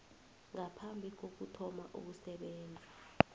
ngaphambi kokuthoma ukusebenza